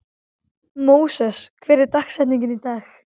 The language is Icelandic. Móses, hver er dagsetningin í dag?